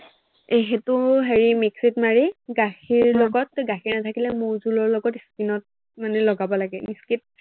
সেইটো হেৰি mix it ত মাৰি গাখীৰ লগত, গাখীৰ নাথাকিলে মৌ-জোলৰ লগত মানে skin ত লগাব লাগে skin